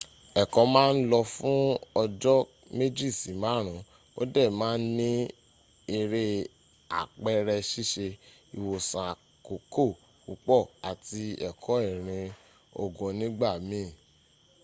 ẹ̀kọ́ ma n lọ fún ọjọ́ 2-5 o dẹ̀ ma n ní eré àpẹrẹ ṣíṣe ìwòsàn àkókò púpọ̀ àti ẹkọ́ irin ogun nígbà miin